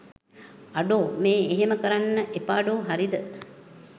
අඩෝ මේ එහෙම කරන්න එපාඩෝ හරිද?